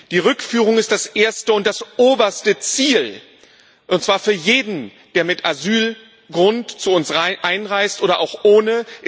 Die Rückführung ist das erste und das oberste Ziel, und zwar für jeden, der mit Asylgrund zu uns einreist oder auch ohne.